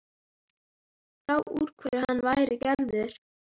Sjá úr hverju hann væri gerður.